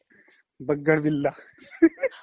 বাগ্গাৰ বিল্লা